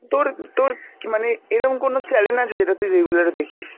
তোর তোর মানে এরম কোন channel আছে যেটা তুই regular এ দেখিস?